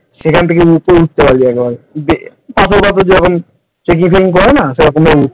সেখান থেকে উপরে উঠতে পারবি একেবারে ধাপে ধাপে যেমন trecking ফেকিং করে না সেরকম উঠতে